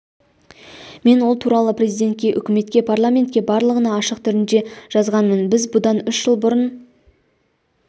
мен ол туралы президентке үкіметке парламентке барлығына ашық хат түрінде жазғанмын біз бұдан үш жыл бұрын